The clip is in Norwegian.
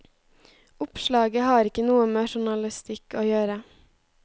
Oppslaget har ikke noe med journalistikk å gjøre.